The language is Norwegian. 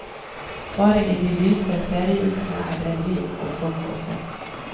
Bare i de lyse ferieukene er det liv og folk å se.